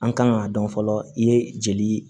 An kan k'a dɔn fɔlɔ i ye jeli